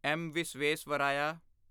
M. Visvesvaraya